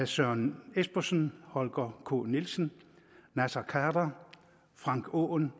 søren espersen holger k nielsen naser khader frank aaen